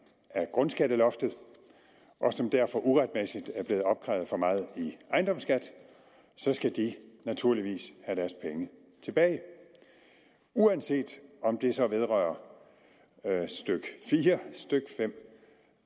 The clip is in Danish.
af grundskatteloftet og som derfor uretmæssigt er blevet opkrævet for meget i ejendomsskat skal de naturligvis have deres penge tilbage uanset om det så vedrører stykke fire stykke fem